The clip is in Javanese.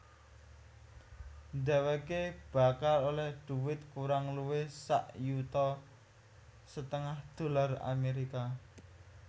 Dhèwèké bakal olèh dhuwit kurang luwih sak yuta setengah dolar Amerika